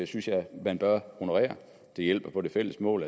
synes jeg man bør honorere det hjælper på det fælles mål